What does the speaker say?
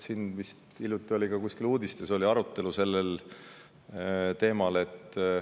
Hiljuti oli vist ka uudistes arutelu sellel teemal.